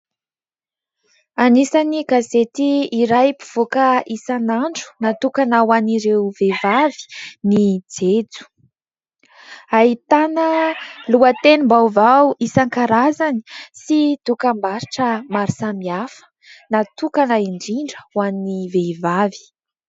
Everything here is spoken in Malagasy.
Anisan'ny gazety iray mpivoaka isan'andro natokana ho an'ireo vehivavy ny jejo. Ahitana lohatenim-baovao isankarazany sy dokam-barotra maro samihafa ; natokana indrindra ho an'ny vehivavy.